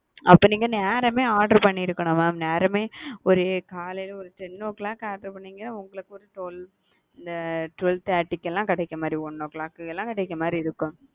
அப்ப நீங்க நேரமே order பண்ணிருக்கணும் mam நேரமே ஒரு காலைல ஒரு ten o clock order பண்ணிருந்தீங்கனா உங்களுக்கு ஒரு twelve o' clock twelve thirty கு லாம் கிடைக்குற மாறி one o clock லாம் கிடைக்குற மாறி.